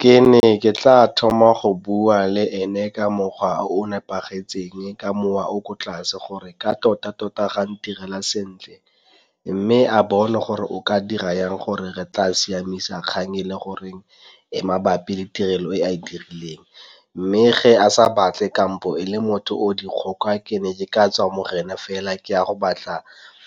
Ke ne ke tla thoma go bua le ene ka mokgwa o o nepagetseng ka mowa o o ko tlase gore ka tota-tota ga ndirela sentle. Mme a bone gore o ka dira yang gore re tla siamisa kgang e le gore e mabapi le tirelo e a e dirileng mme fa a sa batle kampo e le motho o dikgoka ke ne ke ka tswa mo go ena fela ke a go batla